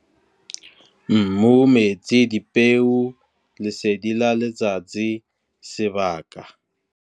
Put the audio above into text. Mmu, metsi, dipeo, lesedi la letsatsi, sebaka.